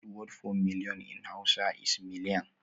The word for million in hausa is milijan